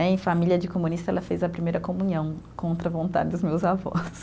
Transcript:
Em família de comunista, ela fez a primeira comunhão contra a vontade dos meus avós.